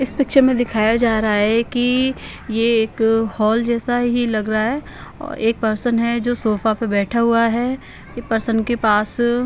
इस पिक्चर में दिखाया जा रहा है की ये एक हॉल जैसा ही लग रहा है एक पर्सन है जो सोफा पर बैठा हुआ है पर्सन के पास--